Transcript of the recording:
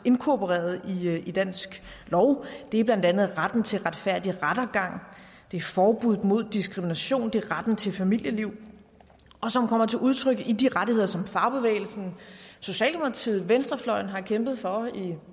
inkorporeret i dansk lov det er blandt andet retten til retfærdig rettergang det er forbuddet mod diskrimination det er retten til familieliv som kommer til udtryk i de rettigheder som fagbevægelsen socialdemokratiet venstrefløjen har kæmpet for i